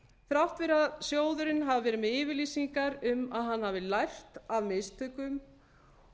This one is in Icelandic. þrátt fyrir að sjóðurinn hafi verið með yfirlýsingar um að hann hafi lært af mistökum